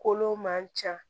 Kolo man ca